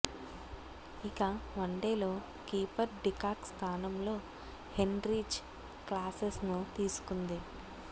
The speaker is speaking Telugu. ఇక వన్డేలో కీపర్ డికాక్ స్థానంలో హెన్రీచ్ క్లాసెన్ ను తీసుకుంది